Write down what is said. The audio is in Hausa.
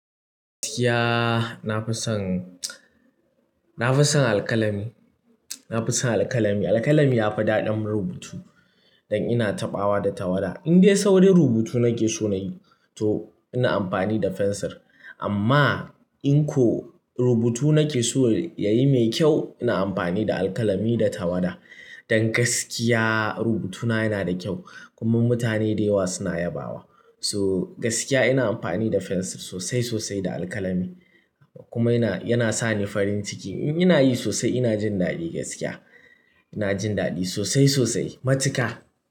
Gaskiya na fi son, na fi son alkalami, na fi son alkalami. Alkalami yafi daɗin rubutu dan ina taɓawa da tawada. Indai saurin rubutu nake so nayi to ina amfani da fensir amma in ko rubutu nake so yayi mai kyau ina amfani da alkalami da tawada. Dan gaskiya rubutuna yana da kyau kuma mutane dayawa suna yabawa. So gaskiya ina amfani da fensir sosai sosai da alkalami kuma yana, yana sani farin ciki. In inayi sosai ina jin daɗi gaskiya. Ina jin daɗi sosai sosai matuka.